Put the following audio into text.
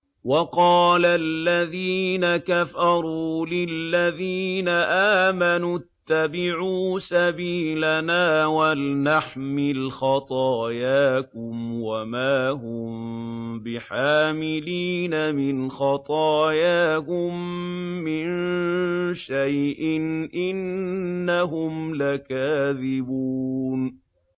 وَقَالَ الَّذِينَ كَفَرُوا لِلَّذِينَ آمَنُوا اتَّبِعُوا سَبِيلَنَا وَلْنَحْمِلْ خَطَايَاكُمْ وَمَا هُم بِحَامِلِينَ مِنْ خَطَايَاهُم مِّن شَيْءٍ ۖ إِنَّهُمْ لَكَاذِبُونَ